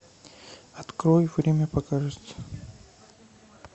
открой время покажет